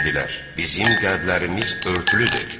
Dedilər: “Bizim qəlblərimiz örtülüdür.”